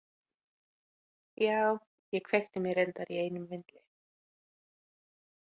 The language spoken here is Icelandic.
Já, ég kveikti mér reyndar í einum vindli.